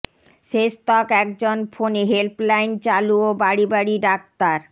শেষতক একজন ফোনে হেল্পলাইন চালু ও বাড়ি বাড়ি ডাক্তার